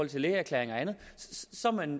til lægeerklæring eller andet så er man